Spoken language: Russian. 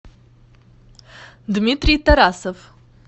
дмитрий тарасов